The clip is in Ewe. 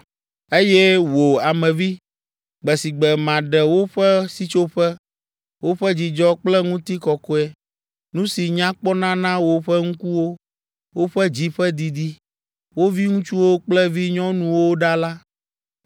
“Eye wò, Ame vi, gbe si gbe maɖe woƒe sitsoƒe, woƒe dzidzɔ kple ŋutikɔkɔe, nu si nya kpɔna na woƒe ŋkuwo, woƒe dzi ƒe didi, wo viŋutsuwo kple vinyɔnuwo ɖa la,